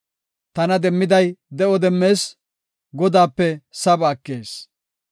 Tana demmiday de7o demmees; Godaape saba ekees.